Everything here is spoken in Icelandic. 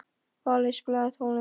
Valey, spilaðu tónlist.